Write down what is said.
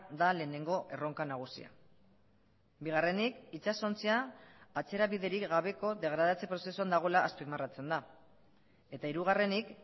da lehenengo erronka nagusia bigarrenik itsasontzia atzerabiderik gabeko degradatze prozesuan dagoela azpimarratzen da eta hirugarrenik